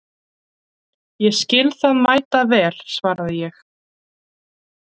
Ég skil það mæta vel, svaraði ég.